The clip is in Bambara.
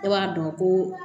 Ne b'a dɔn ko